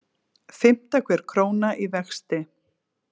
Fimmta hver króna í vexti